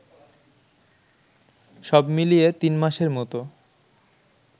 সবমিলিয়ে তিনমাসের মতো